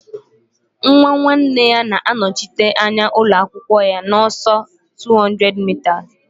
Nwa nwanne ya na-anọchite anya ụlọ akwụkwọ ya n'ọsọ 200m